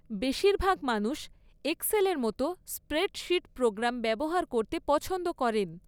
বেশিরভাগ মানুষ এক্সেলের মতো স্প্রেডশীট প্রোগ্রাম ব্যবহার করতে পছন্দ করেন।